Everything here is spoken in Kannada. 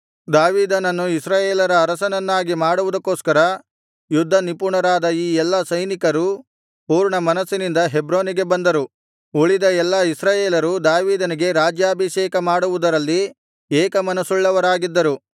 ದಾವೀದನನ್ನು ಇಸ್ರಾಯೇಲರ ಅರಸನನ್ನಾಗಿ ಮಾಡುವುದಕ್ಕೋಸ್ಕರ ಯುದ್ಧನಿಪುಣರಾದ ಈ ಎಲ್ಲಾ ಸೈನಿಕರು ಪೂರ್ಣಮನಸ್ಸಿನಿಂದ ಹೆಬ್ರೋನಿಗೆ ಬಂದರು ಉಳಿದ ಎಲ್ಲಾ ಇಸ್ರಾಯೇಲರು ದಾವೀದನಿಗೆ ರಾಜ್ಯಾಭಿಷೇಕಮಾಡುವುದರಲ್ಲಿ ಏಕಮನಸ್ಸುಳ್ಳವರಾಗಿದ್ದರು